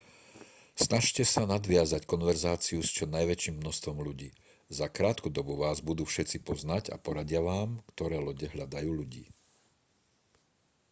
snažte sa nadviazať konverzáciu s čo najväčším množstvom ľudí za krátku dobu vás budú všetci poznať a poradia vám ktoré lode hľadajú ľudí